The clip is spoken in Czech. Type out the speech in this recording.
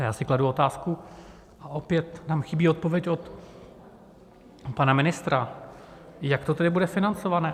A já si kladu otázku, a opět tam chybí odpověď od pana ministra, jak to tedy bude financované.